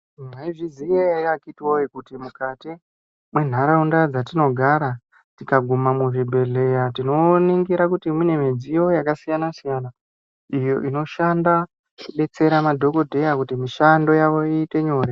Maizviziva here akiti woye kuti mukati mendaraunda dzatinogara tikaguma muzvibhedhlera tinoona kuti mune midziyo yakasiyana siyana iyo inoshanda kudetsera madhokodheya mishando yawo iite nyore.